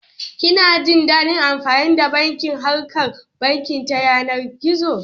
Kina jin daɗin amfani da bankin harkan banki ta yanar gizo?